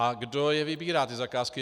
A kdo je vybírá, ty zakázky?